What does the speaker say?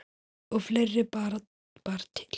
Og fleira bar til.